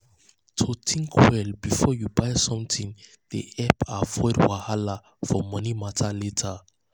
to um think um well um before you buy something dey help avoid wahala for money matter later.